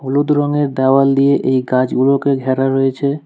হলুদ রঙের দেওয়াল দিয়ে এই গাছগুলোকে ঘেরা রয়েছে।